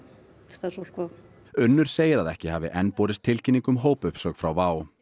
starfsfólk WOW Unnur segir að ekki hafi enn borist tilkynning um hópuppsögn frá WOW